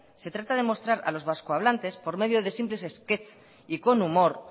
se trata de mostrar a los vasco hablantes por medio de simples sketch y con humor